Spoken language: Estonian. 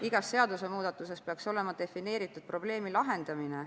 Igas seadusemuudatuses peaks olema defineeritud probleemi lahendamine.